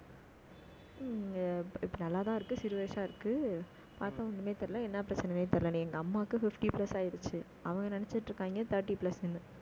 ஹம் இப்ப நல்லா தான் இருக்கு, சிறு வயசா இருக்கு. பார்த்தா ஒண்ணுமே தெரியல என்ன பிரச்சனைன்னே தெரியல. எங்க அம்மாவுக்கு fifty plus ஆயிருச்சு. அவங்க நினைச்சுட்டு இருக்காங்க, thirty plus ன்னு